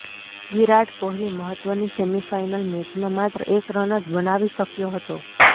વિરાટ કોહલી મહત્વની semi final મેચમાં માત્ર એક રન જ બનાવી શક્યો હતો